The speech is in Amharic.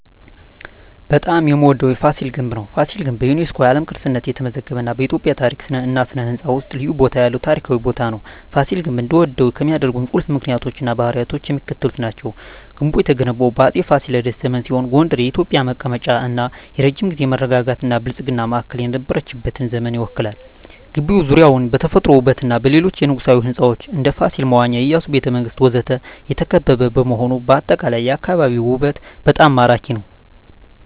በጣም የምዎደው ቦታ ፋሲል ግንብ ነው። ፋሲል ግንብ በዩኔስኮ የዓለም ቅርስነት የተመዘገበ እና በኢትዮጵያ ታሪክ እና ሥነ ሕንፃ ውስጥ ልዩ ቦታ ያለው ታሪካዊ ቦታ ነው። ፋሲል ግንብ እንድወደው ከሚያደርኝ ቁልፍ ምክንያቶች እና ባህሪያት የሚከተሉት ናቸው። ግንቡ የተገነባው በአፄ ፋሲለደስ ዘመን ሲሆን ጎንደር የኢትዮጵያ መቀመጫ እና የረጅም ጊዜ መረጋጋትና ብልጽግና ማዕከል የነበረችበትን ዘመን ይወክላል። ግቢው ዙሪያውን በተፈጥሮ ውበትና በሌሎች የንጉሣዊ ሕንፃዎች (እንደ ፋሲል መዋኛ፣ የኢያሱ ቤተ መንግስት ወዘተ) የተከበበ በመሆኑ አጠቃላይ የአካባቢው ውበት በጣም ማራኪ ነው። …